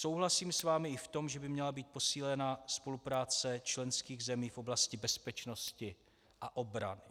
Souhlasím s vámi i v tom, že by měla být posílena spolupráce členských zemí v oblasti bezpečnosti a obrany.